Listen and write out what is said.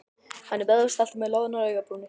Hann er vöðvastæltur með loðnar augnabrúnir.